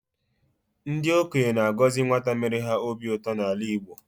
Ndị okenye na-agọzi nwata mere ha obi ụtọ n'ala Igbo.